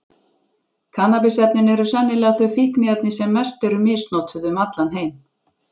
Kannabis-efnin eru sennilega þau fíkniefni sem mest eru misnotuð um allan heim.